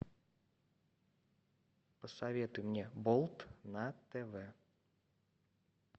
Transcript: посоветуй мне болт на тв